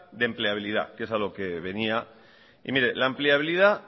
de empleabilidad que es a lo que venía y mire la empleabilidad